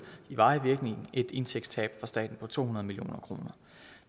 i varig virkning et indtægtstab for staten på to hundrede million kroner